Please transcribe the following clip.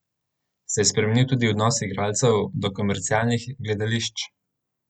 Se je spremenil tudi odnos igralcev do komercialnih gledališč?